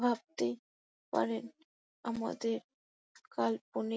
ভাবতে পারেন আমাদের কাল্পনিক--